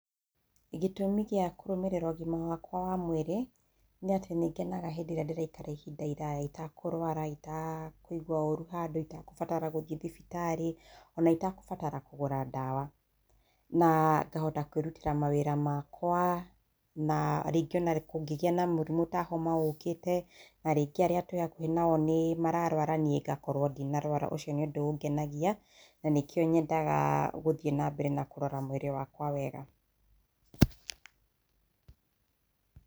Gĩtũmi gĩa kũrũmĩrĩra ũgima wakwa wa mwĩrĩ, nĩ atĩ nĩ ngenaga hĩndĩ ĩrĩa ndĩraikara ihinda iraya itakũrũara, itakũigua ũru handũ, itakũbatara gũthiĩ thibitarĩ ona itagũbatara kũgũra ndawa, na ngahota kwĩrutĩra mawĩra makwa na rĩngĩ ona kũngĩgĩa na mũrimũ ta homa ũkĩte na rĩngĩ arĩa twĩ hakuhĩ nao nĩ mararũara niĩ ngakorwo ndinarũara. Ũcio nĩ ũndũ ũngenagia, na nĩkĩo nyendaga gũthiĩ na mbere na kũrora mwĩrĩ wakwa wega.